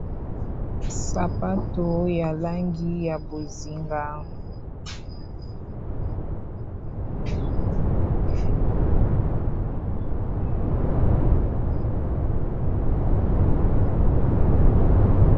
Sapato ya langi ya bozinga.